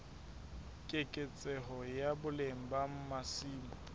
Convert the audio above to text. keketseho ya boleng ba masimo